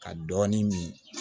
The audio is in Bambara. Ka dɔɔni min